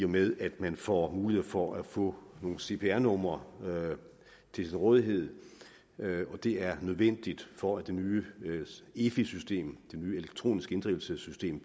med at man får mulighed for at få nogle cpr numre til sin rådighed det er nødvendigt for at det nye efi system det nye elektroniske inddrivelsessystem